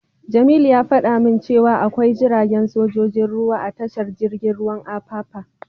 Jamilu ya fada min cewa akwai jiragen sojojin ruwa a tashar jirgin ruwan Apapa.